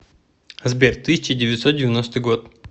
сбер тысяча девятьсот девяностый год